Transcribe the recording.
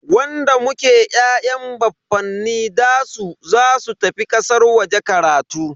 Wanda muke ya'yan baffanin dasu zasu tafi kasar waje karatu.